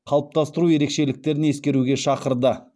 қалыптастыру ерекшеліктерін ескеруге шақырды